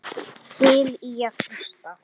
Til í að hlusta.